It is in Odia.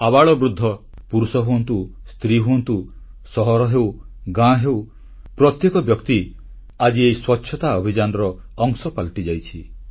ଆବାଳବୃଦ୍ଧ ପୁରୁଷ ହୁଅନ୍ତୁ ସ୍ତ୍ରୀ ହୁଅନ୍ତୁ ସହର ହେଉ ଗାଁ ହେଉ ପ୍ରତ୍ୟେକ ବ୍ୟକ୍ତି ଆଜି ଏହି ସ୍ୱଚ୍ଛତା ଅଭିଯାନର ଅଂଶ ପାଲଟିଯାଇଛି